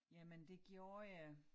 Jamen det gjorde jeg